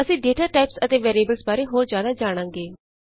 ਅਸੀਂ data types ਅਤੇ variables ਬਾਰੇ ਹੋਰ ਜਿਆਦਾ ਜਾਣਾਂਗੇ